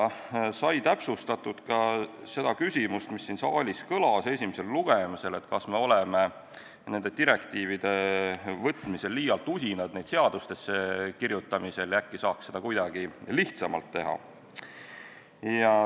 Täpsustati ka küsimust, mis kõlas siin saalis esimesel lugemisel, nimelt, kas me oleme ehk direktiivide ülevõtmisel liialt usinad neid seadustesse kirjutama ja äkki saaks seda kuidagi lihtsamalt teha.